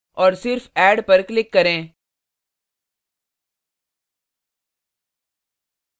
और सिर्फ add पर click करें